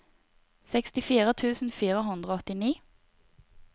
sekstifire tusen fire hundre og åttini